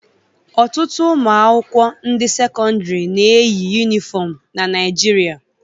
Ọtụtụ ụmụakwụkwọ ndị sekọndịrị na-eyi yunifọm na Naịjirịa